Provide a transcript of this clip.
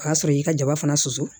O y'a sɔrɔ y'i ka jaba fana susu